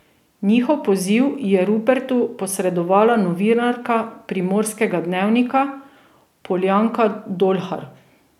Njihov poziv je Rupertu posredovala novinarka Primorskega dnevnika Poljanka Dolhar.